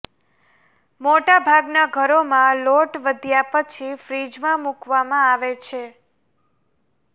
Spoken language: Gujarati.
મોટાભાગના ઘરોમાં લોટ વધ્યા પછી ફ્રીજમાં મૂકવામાં આવે છે